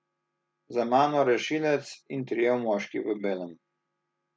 Za mano rešilec in trije moški v belem.